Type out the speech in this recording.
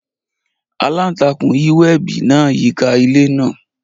Alantakun yi webi naa yika ile naa.